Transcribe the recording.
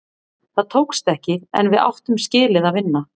Það tókst ekki, en við áttum skilið að vinna.